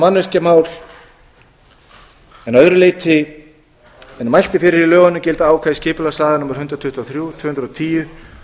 mannvirkjamál en að öðru leyti en mælt er fyrir í lögunum gilda ákvæði skipulagslaga númer hundrað tuttugu og þrjú tvö þúsund og tíu